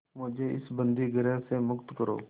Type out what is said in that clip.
मुझे इस बंदीगृह से मुक्त करो